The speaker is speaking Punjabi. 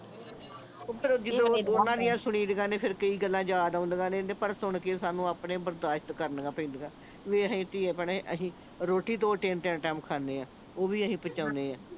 ਓਹ ਫੇਰ ਜਦੋਂ ਓਹਨਾਂ ਦੀਆਂ ਸੁਣੀ ਦੀਆਂ ਨੇ ਫੇਰ ਕਈ ਗੱਲਾਂ ਯਾਦ ਆਉਂਦੀਆਂ ਨੇ ਤੇ ਪਰ ਸੁਣ ਕੇ ਸਾਨੂੰ ਆਪਣੇ ਬਰਦਾਸ਼ਤ ਕਰਨੀਆਂ ਪੈਂਦੀਆਂ ਵੇਖ ਅਸੀਂ ਧੀਏ ਭੈਣੇ ਅਸੀਂ ਰੋਟੀ ਦੋ ਤਿੰਨ ਤਿੰਨ ਟਾਈਮ ਖਾਨੇ ਆ ਓਹ ਵੀ ਅਸੀਂ ਪਚਾਉਣੇ ਆ